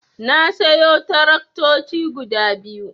Na sayo taraktoci guda biyu.